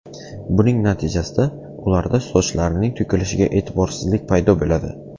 Buning natijasida ularda sochlarining to‘kilishiga e’tiborsizlik paydo bo‘ladi.